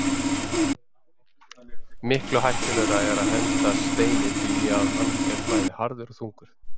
Miklu hættulegra er að henda Steini því að hann er bæði harður og þungur.